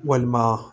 Walima